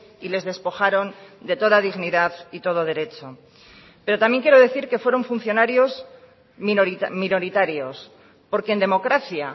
y les despojaron de toda dignidad y todo derecho pero también quiero decir que fueron funcionarios minoritarios porque en democracia